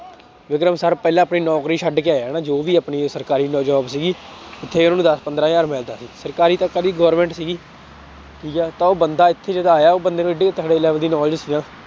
Vikram sir ਪਹਿਲਾਂ ਤੋਂ ਹੀ ਨੌਕਰੀ ਛੱਡ ਕੇ ਆਏ ਆ ਨਾ ਜੋ ਵੀ ਆਪਣੀ ਸਰਕਾਰੀ job ਸੀਗੀ, ਉੱਥੇ ਉਹਨਾਂ ਨੂੰ ਦਸ ਪੰਦਰਾਂ ਹਜ਼ਾਰ ਮਿਲਦਾ ਸੀ ਸਰਕਾਰੀ ਪਤਾ ਨੀ government ਸੀਗੀ ਠੀਕ ਹੈ ਤਾਂ ਉਹ ਬੰਦਾ ਇੱਥੇ ਜਦੋਂ ਆਇਆ ਉਹ ਬੰਦੇ ਨੂੰ ਇੱਡੀ ਤਕੜੇ level ਦੀ knowledge ਸੀ ਨਾ